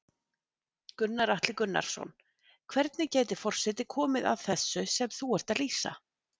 Gunnar Atli Gunnarsson: Hvernig gæti forseti komið að þessu sem þú ert að lýsa?